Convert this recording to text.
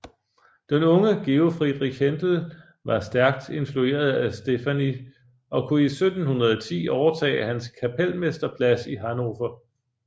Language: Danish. Den unge Georg Friedrich Händel var stærkt influeret af Steffani og kunne i 1710 overtage hans kapelmesterplads i Hannover